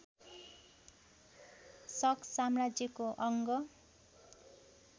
शक साम्राज्यको अङ्ग